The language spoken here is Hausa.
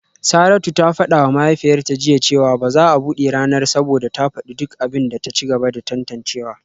Saratu ta fada wa mahaifiyarta jiya cewa ba za a bude ranar ba saboda ta fadi duk abin da ta ci gaba da tantancewa